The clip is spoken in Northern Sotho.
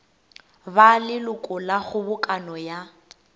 ba leloko la kgobokano ya